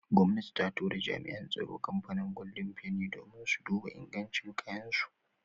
Gomnati ta tura jami'an tsaro kamfanin golden feni domin su duba ingancin kayan su.